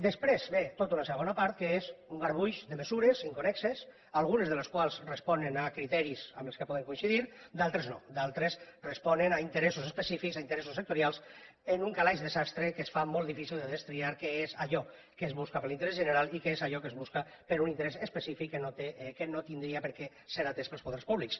després ve tota una segona part que és un garbuix de mesures inconnexes algunes de les quals responen a criteris amb els quals podem coincidir d’altres no d’altres responen a interessos específics a interessos sectorials en un calaix de sastre que es fa molt difícil de destriar què és allò que es busca per a l’interès general i què és allò que es busca per a un interès específic que no hauria de ser atès pels poders públics